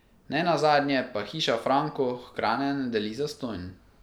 Ne nazadnje pa Hiša Franko hrane ne deli zastonj ...